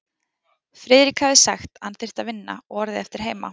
Friðrik hafði sagt, að hann þyrfti að vinna, og orðið eftir heima.